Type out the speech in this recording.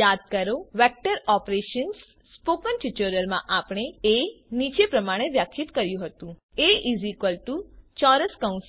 યાદ કરો vector operations spoken ટ્યુટોરીયલમાં આપણે એ નીચે પ્રમાણે વ્યાખ્યાયિત કર્યું હતું A1 2 1 2